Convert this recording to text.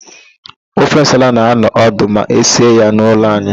Ofe nsala na-anọ ọdụ ma esie ya n'ụlọ anyị.